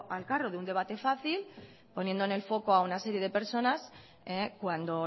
al carro de un debate fácil poniendo en el foco a una serie de personas cuando